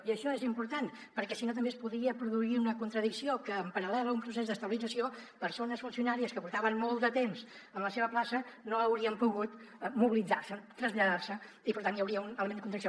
i això és important perquè si no també es podria produir una contradicció que en paral·lel a un procés d’estabilització persones funcionàries que portaven molt de temps en la seva plaça no haurien pogut mobilitzar se traslladar se i per tant hi hauria un element de contradicció